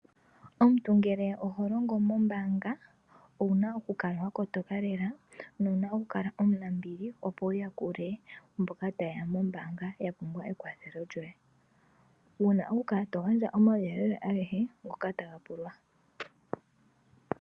Omuntu ngele oho longo mombaanga owuna okukala wa kotoka lela. Nowuna okukala omunambili opo wu yakule mboka ta yeya mombaanga ya pumbwa ekwathelo lyoye. Wuna okukala to gandja omauyelele agehe ngoka taga pulwa.